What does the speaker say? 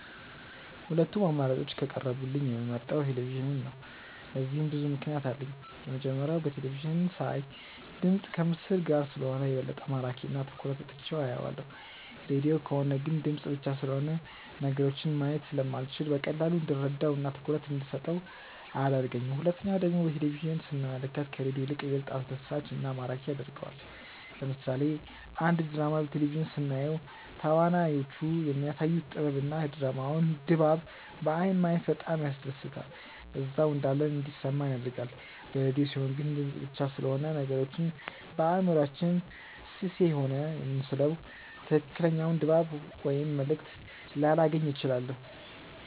ሁለቱም አማራጮች ከቀረቡልኝ የምመርጠው ቴሌቪዥንን ነው። ለዚህም ብዙ ምክንያት አለኝ። የመጀመሪያው በቴለቪዥን ሳይ ድምፅ ከምስል ጋር ስለሆነ የበለጠ ማራኪ እና ትኩረት ሰጥቼው አየዋለሁ። ሬድዮ ከሆነ ግን ድምፅ ብቻ ስለሆነ ነገሮችን ማየት ስለማልችል በቀላሉ እንድረዳው እና ትኩረት እንደሰጠው አያደርገኝም። ሁለተኛው ደግሞ በቴሌቪዥን ስንመለከት ከሬዲዮ ይልቅ ይበልጥ አስደሳች እና ማራኪ ያደርገዋል። ለምሳሌ አንድ ድራማ በቴሌቪዥን ስናየው ተዋናዮቹ የሚያሳዩት ጥበብ እና የድራማውን ድባብ በአይን ማየት በጣም ያስደስታል እዛው እንዳለን እንዲሰማን ያደርጋል። በሬድዮ ሲሆን ግን ድምፅ ብቻ ስለሆነ ነገሮችን በአእምሯችን ስሴሆነ የምንስለው ትክክለኛውን ድባብ ወይም መልእክት ላላገኝ እችላለሁ።